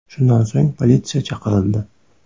Shundan so‘ng politsiya chaqirildi.